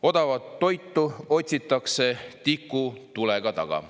"Odavat toitu otsitakse tikutulega taga.